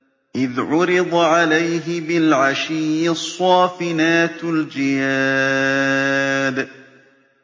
إِذْ عُرِضَ عَلَيْهِ بِالْعَشِيِّ الصَّافِنَاتُ الْجِيَادُ